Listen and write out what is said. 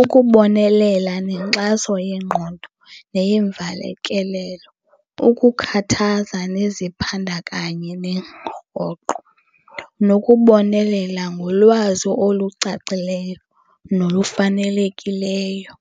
Ukubonelela nenkxaso yengqondo neyemvakalelo, ukukhathaza neziphandakanye rhoqo, nokubonelela ngolwazi olucacileyo nolufanelekileyo.